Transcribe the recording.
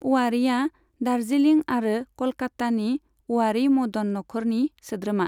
अवारीआ दार्जिलिं आरो कलकत्तानि अवारी मदन नखरनि सोद्रोमा।